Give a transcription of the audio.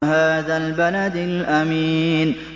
وَهَٰذَا الْبَلَدِ الْأَمِينِ